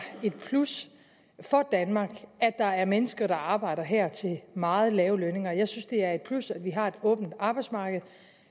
et plus for danmark at der er mennesker der arbejder her til meget lave lønninger jeg synes det er et plus at vi har et åbent arbejdsmarked